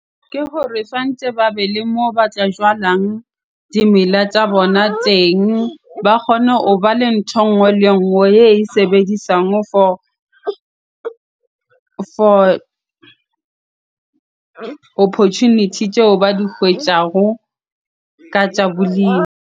Ke gore tshwantse ba be le moo ba tla jalang dimela tsa bona teng. Ba kgone hoba le ntho e nngwe le e nngwe e sebedisang for opportunity tseo ba di kgwetjago ka tsa bolemi.